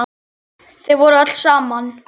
Þau voru öll saman.